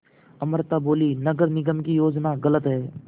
अमृता बोलीं नगर निगम की योजना गलत है